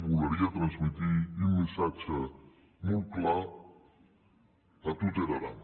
voleria transméter un messatge molt clar tà tot er aran